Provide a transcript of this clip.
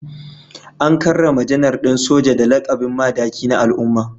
An karrama Janar din Soja da lakabin Madaki na al’umma